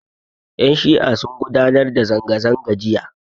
Yan' shi'a sun gudanar da zanga-zanga jiya.